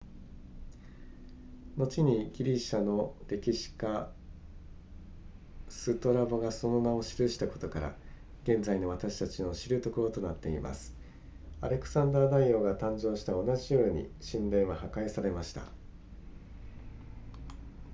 後にギリシャの歴史家ストラボがその名を記したことから現在の私たちの知るところとなっていますアレクサンダー大王が誕生した同じ夜に神殿は破壊されました